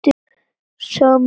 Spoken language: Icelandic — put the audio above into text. Sami tími.